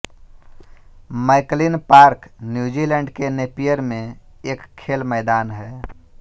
McLean park New Zealand के Napier में एक खेल मैदान है